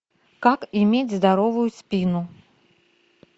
как иметь здоровую спину